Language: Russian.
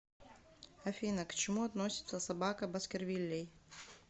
афина к чему относится собака баскервилей